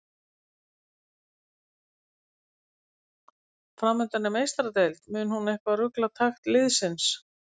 Framundan er Meistaradeild, mun hún eitthvað rugla takt liðsins?